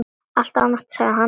Allt ágætt, sagði hann.